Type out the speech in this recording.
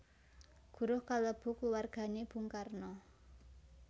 Guruh kalebu kluwargané Bung Karno